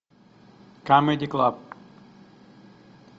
камеди клаб